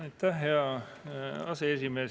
Aitäh, hea aseesimees!